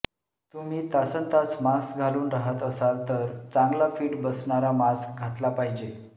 तुम्ही तासनतास मास्क घालून राहत असाल तर चांगला फिट बसणारा मास्क घातला पाहिजे